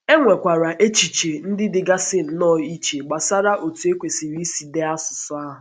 E nwekwara echiche ndị dịgasị nnọọ iche gbasara otú e kwesị̀rị̀ isi dee asụsụ ahụ.